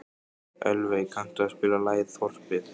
Ölveig, kanntu að spila lagið „Þorpið“?